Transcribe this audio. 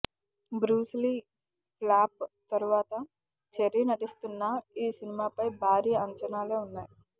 Bruce Lee flop తర్వాత చెర్రి నటిస్తున్న ఈ సినిమాపై భారీ అంచనాలే ఉన్నాయి